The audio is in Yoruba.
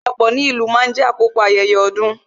Ìpéjọpọ̀ ní ìlú máa ń jé àkókò ayẹyẹ ọdún